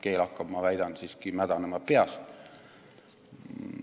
Keel hakkab, ma väidan, siiski mädanema peast.